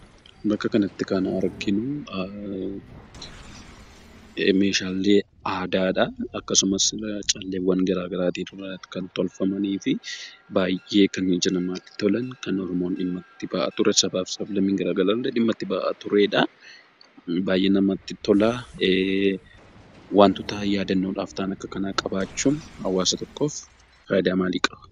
Bakka kanatti kan arginuu, meeshaalee aadaadha akkasuma calleewwan garaagaraati kan tolfamanii fi baayyee kan ija namatti tolan, kan Oromoon dhimma itti bahaa ture, sabaa fi sab-lammiin garaagaraa illee dhimma itti bahaa turedhaa. Baayyee namatti tolaa, waantota yaadannoodhaaf ta'an qabaachuun hawaasa tokkoof fayidaa maali qabaa?